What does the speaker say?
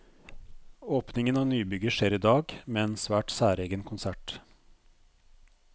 Åpningen av nybygget skjer i dag, med en svært særegen konsert.